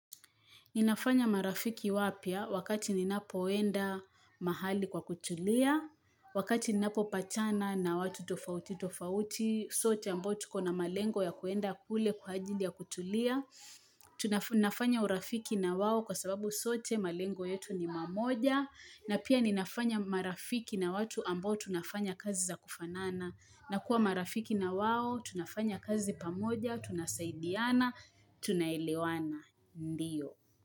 Ninafanya marafiki wapya wakati ninapoenda mahali kwa kutulia, wakati ninapopatana na watu tofauti, tofauti, sote ambao tuko na malengo ya kuenda kule kwa ajili ya kutulia. Tunafanya urafiki na wao kwa sababu sote malengo yetu ni mamoja. Na pia ninafanya marafiki na watu ambao tunafanya kazi za kufanana. Na kuwa marafiki na wao, tunafanya kazi pamoja, tunasaidiana, tunaelewana. Ndiyo.